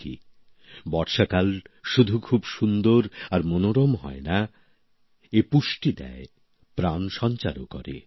ঠিকই বর্ষাকাল শুধু খুব সুন্দর আর মনোরম হয় না এই ঋতু পুষ্টি দেয় প্রাণ সঞ্চারও করে